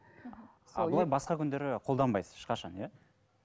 ал былай басқа күндері қолданбайсыз ешқашан иә